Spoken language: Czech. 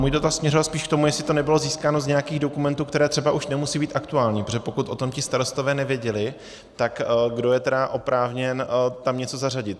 Můj dotaz směřoval spíš k tomu, jestli to nebylo získáno z nějakých dokumentů, které třeba už nemusí být aktuální, protože pokud o tom ti starostové nevěděli, tak kdo je tedy oprávněn tam něco zařadit?